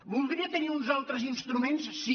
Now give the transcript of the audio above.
voldria tenir uns altres ins·truments sí